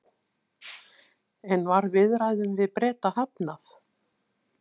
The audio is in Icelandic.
En var viðræðum við Breta hafnað?